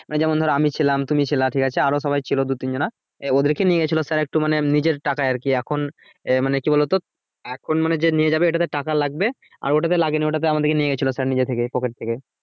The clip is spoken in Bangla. মানে যেমন আমি ছিলাম তুমি ছিলে ঠিক আছে আরো সবাই ছিলো দু তিন জানা ওদেরকে নিয়ে গেছিলো sir একটু মানে নিজের টাকায় আর কি, এখন এ মানে কি বলো তো এখন মানে যে নিয়ে যাবে ওটাতে টাকা লাগবে আর ওটাতে লাগেনি ওটাতে আমাদেরকে নিয়ে গেছিলো sir নিজের থেকে pocket থেকে